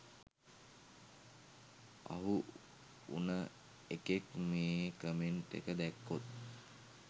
අහු උන එකෙක් මේ කමෙන්ට් එක දැක්කොත්